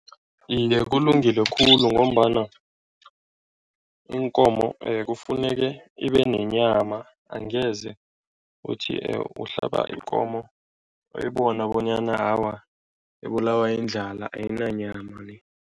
Iye, kulungile khulu ngombana iinkomo kufuneke ibe nenyama angeze uthi uhlaba ikomo uyibona bonyana awa, ibulawa indlala, ayinanyama ni.